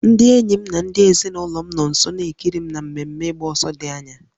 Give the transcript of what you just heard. Ndị enyi m na ndị ezinụlọ m nọ nso na-ekiri m na mmemme ịgba ọsọ dị anya